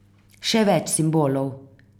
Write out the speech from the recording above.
Še več simbolov.